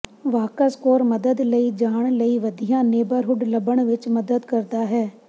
Walk Score ਮਦਦ ਲਈ ਜਾਣ ਲਈ ਵਧੀਆ ਨੇਬਰਹੁਡ ਲੱਭਣ ਵਿੱਚ ਮਦਦ ਕਰਦਾ ਹੈ